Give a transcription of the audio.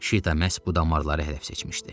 Şita məhz bu damarları hədəf seçmişdi.